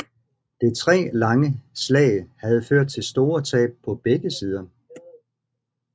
Det tre dage lange slag havde ført til store tab på begge sider